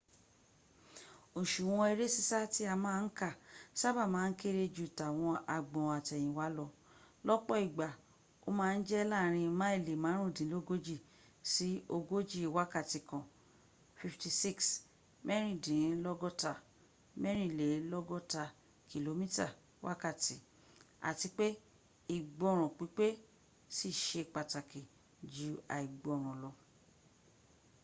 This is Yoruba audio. òsùwọ̀n eré sísá tí a má ń kà sáàba má n kéré ju tàwọn agbọn àtẹ̀yìnwá lọ- lọ́pọ̀ ìgbà ó ma ń jẹ́ láàrin máìlì márùndínlógójì sí ogóji wákàtí kan 56mẹ́rìndínlọ́gọta-mẹ́rìnlélọ́gọ́ta kìlómítà wákàtí - ati pe igboran pípe sí i se pàtàkì ju àìgbọ́ràn lọ